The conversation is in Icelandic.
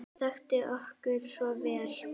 Hún þekkti okkur svo vel.